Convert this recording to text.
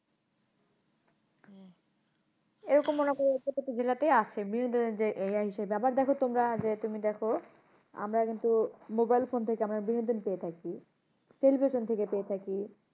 এরকম অনেকই জেলাতে আছে এর ইয়ে হিসাবে। আবার দেখো তোমরা যে তুমি দেখো আমরা কিন্তু mobile phone থেকে আমরা বিনোদন পেয়ে থাকি television থেকে পেয়ে থাকি।